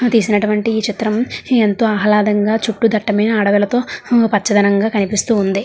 తీసినటువంటి ఈ చిత్రం ఎంతో ఆహ్లాదంగా చుట్టూ దట్టమైన అడవులతో హు పచ్చదనగా కనిపిస్తూ ఉంది.